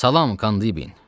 Salam Kandin.